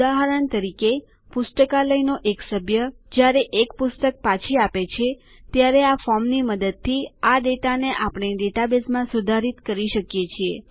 ઉદાહરણ તરીકે પુસ્તકાલયનો એક સભ્ય જયારે એક પુસ્તક પાછી આપે છે ત્યારે આ ફોર્મની મદદથી આ માહિતીને આપણે ડેટાબેઝમાં સુધારિત કરી શકીએ છીએ